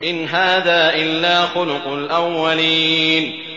إِنْ هَٰذَا إِلَّا خُلُقُ الْأَوَّلِينَ